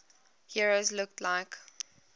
heroes looked like